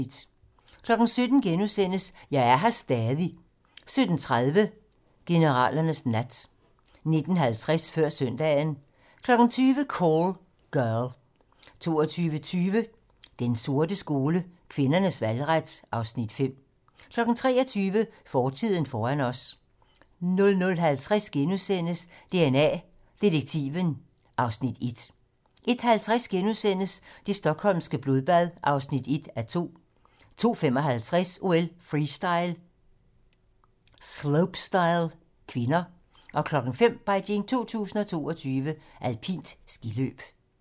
17:00: Jeg er her stadig * 17:30: Generalernes nat 19:50: Før søndagen 20:00: Call Girl 22:20: Den sorte skole: Kvinders valgret (Afs. 5) 23:00: Fortiden foran os 00:50: DNA Detektiven (Afs. 1)* 01:50: Det stockholmske blodbad (1:2)* 02:55: OL: Freestyle - slopestyle (k) 05:00: Beijing 2022: Alpint skiløb